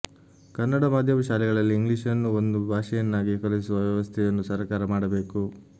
ಕನ್ನಡ ಮಾಧ್ಯಮ ಶಾಲೆಗಳಲ್ಲಿ ಇಂಗ್ಲಿಷನ್ನು ಒಂದು ಭಾಷೆಯನ್ನಾಗಿ ಕಲಿಸುವ ವ್ಯವಸ್ಥೆಯನ್ನು ಸರಕಾರ ಮಾಡಬೇಕು